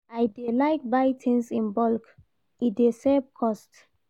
I dey like buy tins in bulk, e dey save cost.